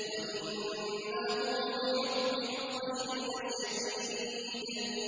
وَإِنَّهُ لِحُبِّ الْخَيْرِ لَشَدِيدٌ